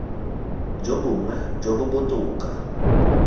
jo bongwe jo bo botoka